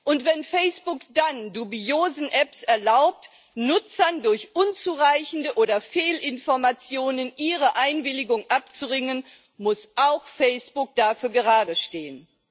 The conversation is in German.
Und wenn Facebook dann dubiosen Apps erlaubt, Nutzern durch unzureichende oder Fehlinformationen ihre Einwilligung abzuringen, muss auch Facebook dafür geradestehen.